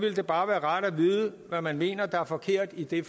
det bare være rart at vide hvad man mener der er forkert i det